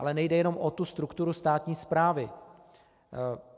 Ale nejde jenom o tu strukturu státní správy.